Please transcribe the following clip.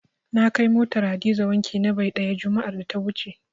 Na kai motar Hadiza wanki na bai ɗaya, juma'ar da ta wuce.